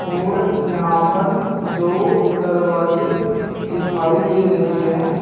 और यहां पर दो दरवाजे दिखाई दे रही हैं।